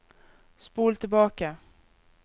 spol tilbake